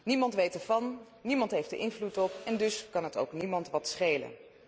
Niemand weet ervan, niemand heeft er invloed op en dus kan het ook niemand wat schelen.